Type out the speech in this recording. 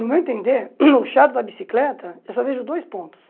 No meu entender, o chato da bicicleta, eu só vejo dois pontos.